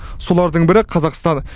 солардың бірі қазақстан